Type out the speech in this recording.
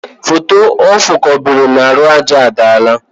Foto o kobere n' ahụ aja adaala.